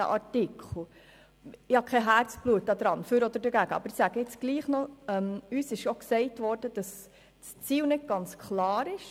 Ich bin nicht mit Herzblut dafür oder dagegen, aber uns wurde auch gesagt, dass das Ziel nicht ganz klar ist.